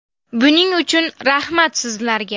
Buning uchun rahmat sizlarga.